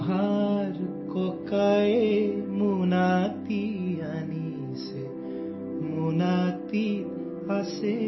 Assamese Sound Clip 35 seconds